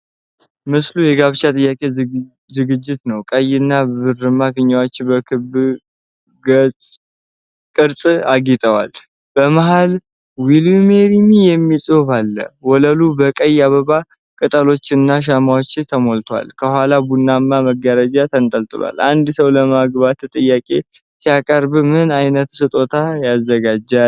ምስሉ የጋብቻ ጥያቄ ዝግጅት ነው። ቀይና ብርማ ፊኛዎች በክብ ቅርጽ አጌጠዋል። በመሀል "ዊል ዩ ማሪ ሚ" የሚል ጽሑፍ አለ። ወለሉ በቀይ አበባ ቅጠሎችና በሻማዎች ተሞልቷል። ከኋላ ቡናማ መጋረጃ ተንጠልጥሏል። አንድ ሰው ለማግባት ጥያቄ ሲያቀርብ ምን ዓይነት ስጦታዎች ያዘጋጃል?